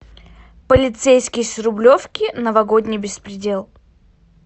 полицейский с рублевки новогодний беспредел